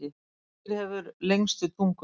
Hvaða dýr hefur lengstu tunguna?